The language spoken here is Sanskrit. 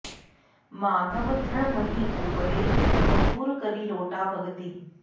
माधव दृढ महि ऊपरै प्रचुर करी लोटा भगति